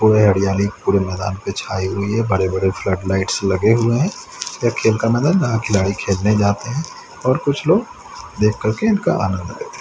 हरियाली पूरे मैदान पे छाई हुई है बड़े-बड़े फ्लड लाइट्स लगे हुए हैं। यह खेल का मैदान है जहां खिलाड़ी खेलने जाते हैं और कुछ लोग देख करके इनका आनंद लेते हैं।